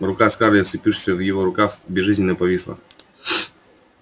рука скарлетт вцепившаяся в его рукав безжизненно повисла